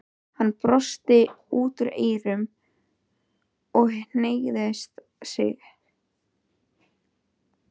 Hann brosti út að eyrum og hneigði sig.